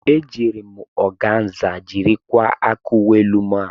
Ejiiri m ọganza jiri kwaa aka uwe elu m a.